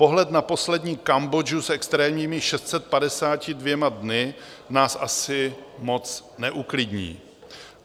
Pohled na poslední Kambodžu s extrémními 652 dny nás asi moc neuklidní.